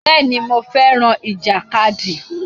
Bẹ́ẹ̀ni, mo fẹ́ràn ìjàkadì.